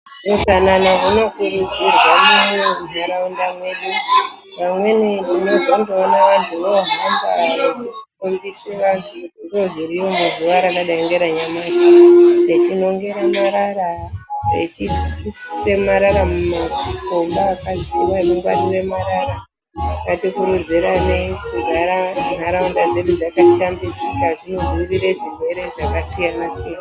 Utsanana hunokurudzirwa munharaunda medu amweni tinozongoona vantu vohamba vechifundisa vantu zvirwere zviriyo muzuva rakadai ngeranyamashi vechinongera marara vechiisa marara mumakomba ngati kuridziranei kugara nharaunda dzedu dzakashambidzika zvinodzivirira zvirwere zvakasiyana-siyana